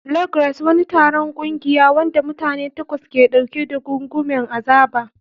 Log Race. Wani taron ƙungiya, wanda mutane takwas ke ɗauke da gungumen azaba.